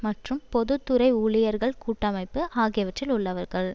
மற்றும் பொது துறை ஊழியர்கள் கூட்டமைப்பு ஆகியவற்றில் உள்ளவர்கள்